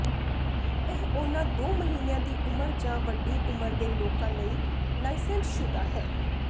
ਇਹ ਉਨ੍ਹਾਂ ਦੋ ਮਹੀਨਿਆਂ ਦੀ ਉਮਰ ਜਾਂ ਵੱਡੀ ਉਮਰ ਦੇ ਲੋਕਾਂ ਲਈ ਲਾਇਸੈਂਸਸ਼ੁਦਾ ਹੈ